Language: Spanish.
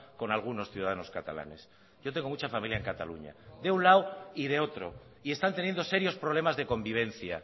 con algunos ciudadanos catalanes yo tengo mucha familia en cataluña de un lado y de otro y están teniendo serios problemas de convivencia